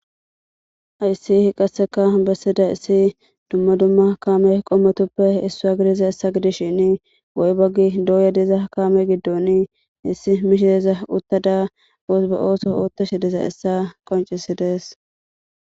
Hayssi hi qasseka bessida issi dumma dumma kame qommotoppe issua gidiza issa gidis shini goy baggi dooyadiza kame giddon issi mishideza uttada oosba ooso oottashi deza issa qoncisidees.